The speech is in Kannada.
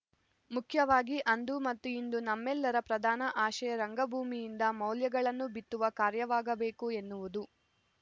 ಮುಖ್ಯವಾಗಿ ಅಂದು ಮತ್ತು ಇಂದು ನಮ್ಮೆಲ್ಲರ ಪ್ರದಾನ ಆಶಯ ರಂಗಭೂಮಿಯಿಂದ ಮೌಲ್ಯಗಳನ್ನು ಬಿತ್ತುವ ಕಾರ್ಯವಾಗಬೇಕು ಎನ್ನುವುದು